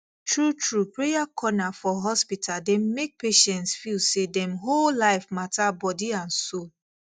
truetrue prayer corner for hospital dey make patients feel say dem whole life matter body and soul